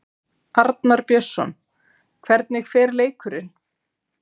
Arnar Björnsson: Hvernig fer leikurinn?